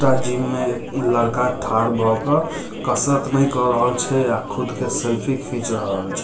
त जिम में एक लड़का थाड़ भरके कसरत नइ कर रहल छै और खुद के सेल्फी खींच रहल छै।